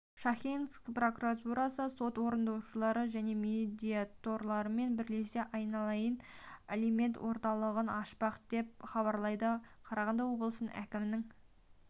шахтинск прокуратурасы сот орындаушылар және медиаторлармен бірлесе айналайын алимент орталығын ашпақ деп хабарлайды қарағанды облысы әкімінің